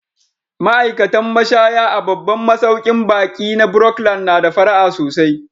Ma'aikatan mashaya a babban masaukin baƙi na Brookland na da fara'a sosai.